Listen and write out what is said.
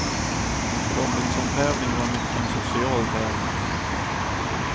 Robinsontävlingen var mycket en social tävling.